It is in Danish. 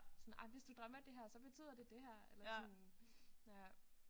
Sådan ej hvis du drømmer det her så betyder det det her eller sådan ja